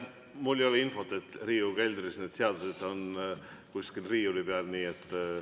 Mul ei ole infot selle kohta, et kusagil Riigikogu keldris need seadused riiuli peal oleksid.